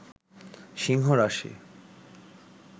সিংহ রাশি